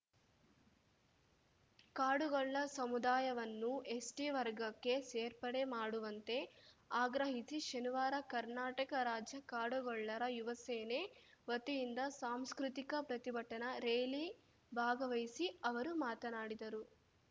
ಕಾಡುಗೊಲ್ಲ ಸಮುದಾಯವನ್ನು ಎಸ್‌ಟಿ ವರ್ಗಕ್ಕೆ ಸೇರ್ಪಡೆ ಮಾಡುವಂತೆ ಆಗ್ರಹಿಸಿ ಶನಿವಾರ ಕರ್ನಾಟಕ ರಾಜ್ಯ ಕಾಡುಗೊಲ್ಲರ ಯುವಸೇನೆ ವತಿಯಿಂದ ಸಾಂಸ್ಕೃತಿಕ ಪ್ರತಿಭಟನಾ ರೇಲಿ ಭಾಗವಹಿಸಿ ಅವರು ಮಾತನಾಡಿದರು